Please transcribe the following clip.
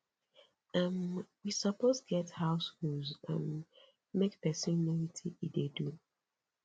um we suppose get house rules um make person know wetin he dey do